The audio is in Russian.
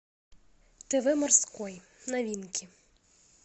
тв морской новинки